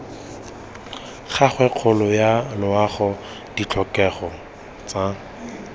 gagwe kgolo yaloago ditlhokego tsa